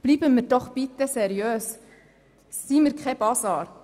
Bleiben wir bitte seriös und seien wir kein Basar!